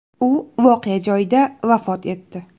U voqea joyida vafot etdi.